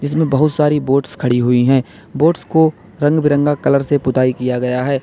में बहुत सारी बोट्स खड़ी हुई हैं बोट्स को रंग बिरंगा कलर से पुताई किया गया है।